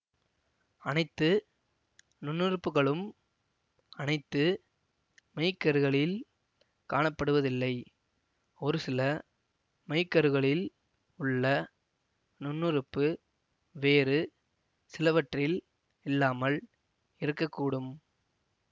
அனைத்து நுண்ணுறுப்புகளும் அனைத்து மெய்க்கருகளில் காணப்படுவதில்லை ஒரு சில மெய்க்கருகளில் உள்ள நுண்ணுறுப்பு வேறு சிலவற்றில் இல்லாமல் இருக்க கூடும்